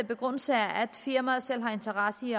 begrundelse er at firmaet selv har interesse i